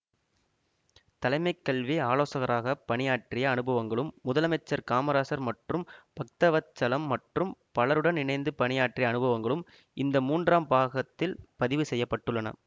தலைமைக் கல்வி ஆலோசகராகப் பணியாற்றிய அனுபவங்களும் முதலமைச்சர் காமராஜர் மற்றும் பக்தவத்சலம் மற்றும் பலருடன் இணைந்து பணியாற்றிய அனுபவங்களும் இந்த மூன்றாம் பாகத்தில் பதிவு செய்ய பட்டுள்ளன